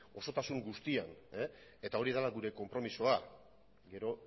osotasun guztian eta hori dela gure konpromisoa gero